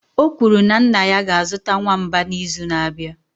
o kwuru na nna ya ga-azụta nwamba n'izu na-abịa